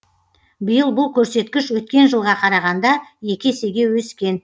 биыл бұл көрсеткіш өткен жылға қарағанда екі есеге өскен